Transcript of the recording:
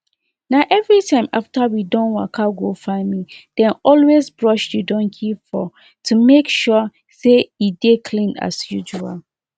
na everytime after we don waka go farmi dey always brush the donkey fur to make sure say e dey clean as usual